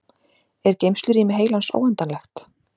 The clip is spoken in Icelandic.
Er geymslurými heilans óendanlegt?